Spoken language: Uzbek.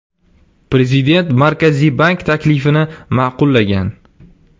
Prezident Markaziy bank taklifini ma’qullagan.